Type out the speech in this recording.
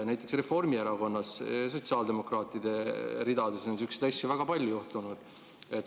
Näiteks Reformierakonnas ja sotsiaaldemokraatide ridades on sihukesi asju väga palju juhtunud.